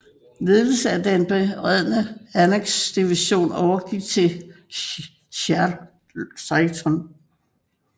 Ledelsen af den beredne Anzac division overgik til Chaytor